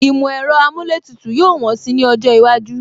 Ìmọ̀ ẹ̀rọ amúlétùtù yóò wọ́n si ní ọjọ́ iwájú